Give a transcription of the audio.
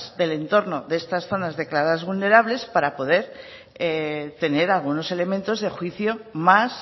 del entorno de estas zonas declaradas vulnerables para poder tener algunos elementos de juicio más